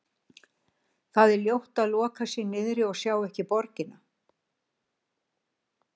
Það er ljótt að loka sig niðri og sjá ekki borgina.